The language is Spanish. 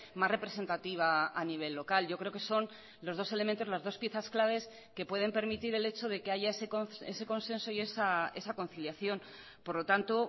más representativa a nivel local yo creo que son los dos elementos las dos piezas claves que pueden permitir el hecho de que haya ese consenso y esa conciliación por lo tanto